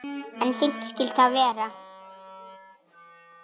En fínt skyldi það vera!